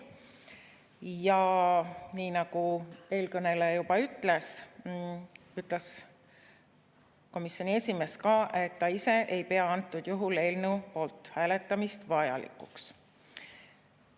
Ja nii nagu eelkõneleja juba mainis, ütles komisjoni esimees ka, et ta ise ei pea eelnõu poolt hääletamist vajalikuks.